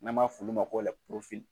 N'an b'a f'ulu ma ko